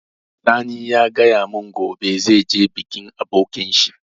Sani ya gaya mun gobe zai je bikin abokin shi